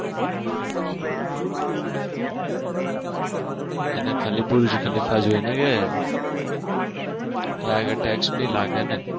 અને ખાલી બીજું કે ફાયદો એને જોવાનો ત્યાં આગળ Text નહિ લાગેને